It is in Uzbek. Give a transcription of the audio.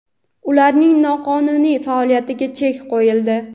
ularning noqonuniy faoliyatiga chek qo‘yildi.